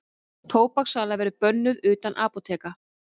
Tóbakssala verði bönnuð utan apóteka